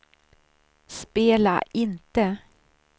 spela inte